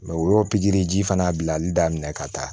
o y'o pikiri ji fana bilali daminɛ ka taa